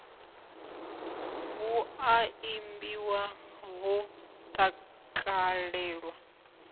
hu a imbiwa ho takalelwa